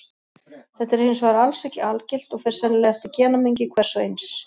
Þetta er hins vegar alls ekki algilt og fer sennilega eftir genamengi hvers og eins.